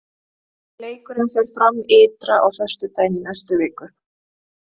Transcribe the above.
Leikurinn fer fram ytra á föstudaginn í næstu viku.